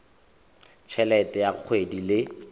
t helete ya kgwedi le